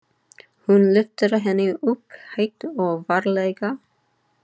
Hún lyftir henni upp, hægt og varlega.